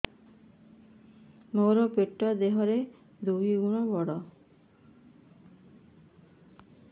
ମୋର ପେଟ ଦେହ ର ଦୁଇ ଗୁଣ ବଡ